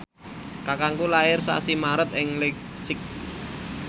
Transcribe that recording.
kakangku lair sasi Maret ing leipzig